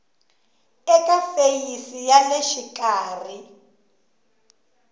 eka feyisi ya le xikarhi